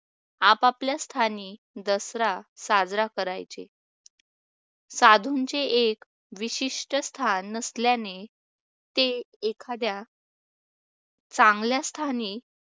आपापल्या स्थानी दसरा साजरा करायचे. साधूंचे एक विशिष्ट स्थान नसल्याने ते एखाद्या चांगल्या स्थानी